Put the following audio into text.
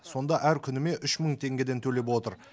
сонда әр күніме үш мың теңгеден төлеп отыр